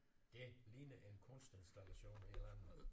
Det ligner en kunstinstallation et eller andet